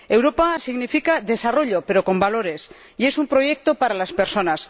Europa significa desarrollo, pero con valores, y es un proyecto para las personas.